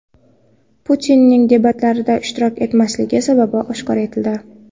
Putinning debatlarda ishtirok etmasligi sababi oshkor etildi.